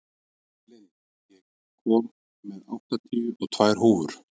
Lind, ég kom með áttatíu og tvær húfur!